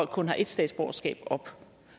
kun har ét statsborgerskab op